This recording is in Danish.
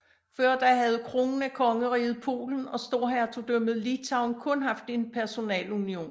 Før da havde kronen af Kongeriget Polen og storhertugdømmet Litauen kun haft en personalunion